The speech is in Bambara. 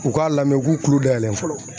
U k'a lamɛn u k'u tulo dayɛlɛ fɔlɔ.